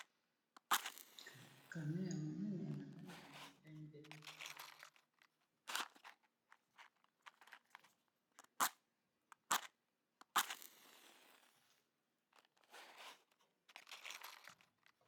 Camion ya munene na langi ya pembe.